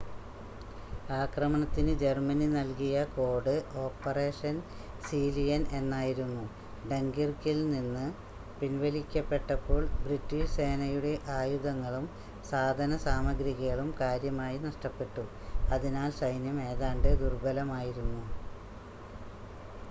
ആക്രമണത്തിന് ജർമ്മനി നൽകിയ code Operation Sea Lion എന്നായിരുന്നു ഡങ്കിർക്കിൽ നിന്ന് പിൻവലിക്കപ്പെട്ടപ്പോൾ ബ്രിട്ടീഷ് സേനയുടെ ആയുധങ്ങളും സാധനസാമഗ്രികളും കാര്യമായി നഷ്ടപ്പെട്ടു അതിനാൽ സൈന്യം ഏതാണ്ട് ദുർബലമായിരുന്നു